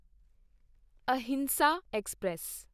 Ahinsa express